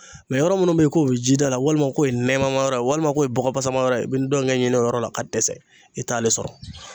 Mɛ yɔrɔ munnu be yen k'o bɛ ji da la walima k'o ye nɛma ma yɔrɔ ye walima k'o ye bɔgɔ pasamanyɔrɔ ye i be ndɔngɛ ɲini o yɔrɔ la ka dɛsɛ i t'ale sɔrɔ